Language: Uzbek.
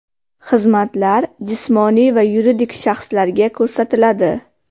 Xizmatlar jismoniy va yuridik shaxslarga ko‘rsatiladi.